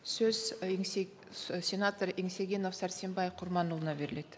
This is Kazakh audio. сөз ы сенатор еңсегенов сәрсенбай құрманұлына беріледі